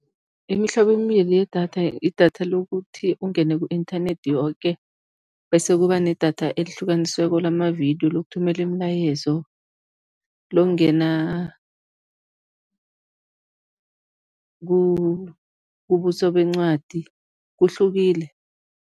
Imihlobo emibili yedatha, idatha lokuthi ungene ku-inthanethi yoke bese kuba nedatha elihlukanisweko lamavidiyo, lokuthumela imilayezo, lokungena kubuso bencwadi, kuhlukile.